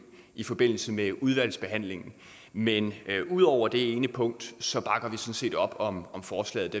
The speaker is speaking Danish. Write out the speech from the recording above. i forbindelse med udvalgsbehandlingen men ud over det ene punkt bakker sådan set op om forslaget